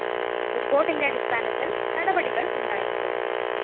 റിപ്പോര്‍ട്ടിന്റെ അടിസ്ഥാനത്തില്‍ നടപടികള്‍ ഉണ്ടായേക്കും